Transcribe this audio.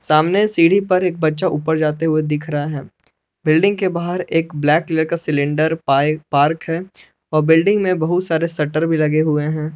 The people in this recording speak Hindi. सामने सीढ़ी पर एक बच्चा ऊपर जाते हुए दिख रहा है बिल्डिंग के बाहर एक ब्लैक कलर का सिलेंडर पाइप पार्क है बिल्डिंग में बहुत सारे। शट्टर भी लगे हुए हैं।